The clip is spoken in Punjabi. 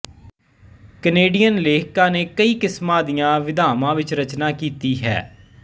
ਕੈਨੇਡੀਅਨ ਲੇਖਕਾਂ ਨੇ ਕਈ ਕਿਸਮਾਂ ਦੀਆਂ ਵਿਧਾਵਾਂ ਵਿੱਚ ਰਚਨਾ ਕੀਤੀ ਹੈ